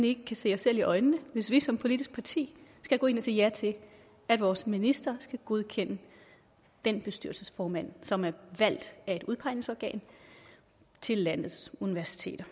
ikke kan se os selv i øjnene hvis vi som politisk parti skal gå ind og sige ja til at vores minister skal godkende den bestyrelsesformand som er valgt af et udpegningsorgan til landets universiteter